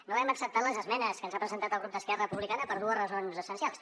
no hem acceptat les esmenes que ens ha presentat el grup d’esquerra republicana per dues raons essencials